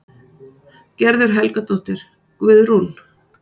Gerður Helgadóttir, Guðrún